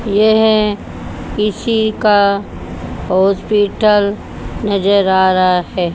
यह किसी का हॉस्पिटल नजर आ रहा है।